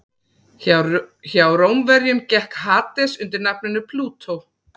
Hjá Rómverjum gekk Hades undir nafninu Plútó.